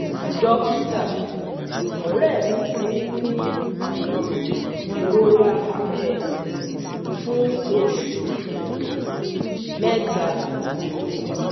Dókítà, ọ̀rẹ́ mi ti ń ní um ìrora ẹ̀yìn fún oṣù um mẹ́ta um